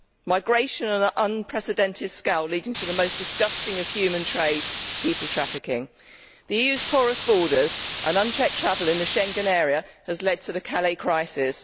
Migration on an unprecedented scale leading to the most disgusting type of human trade people trafficking. The EU's porous borders and unchecked travel in the Schengen area has led to the Calais crisis.